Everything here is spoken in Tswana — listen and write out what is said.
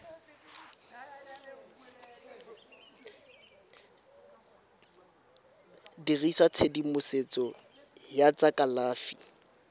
dirisa tshedimosetso ya tsa kalafi